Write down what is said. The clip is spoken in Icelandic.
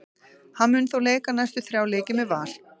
Hann mun þó leika næstu þrjá leiki með Val.